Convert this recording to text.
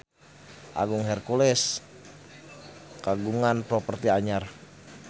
Agung Hercules kagungan properti anyar